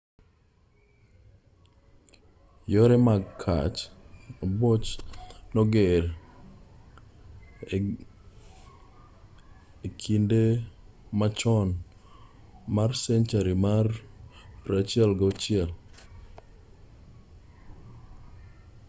yore mag gach ambuoche noger ei ingresa e kinde machon mar senchari mar 16